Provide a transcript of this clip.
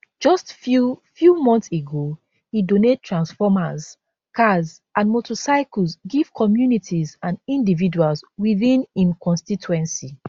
just few few months ago e donate transformers cars and motorcycles give communities and individuals within im constituency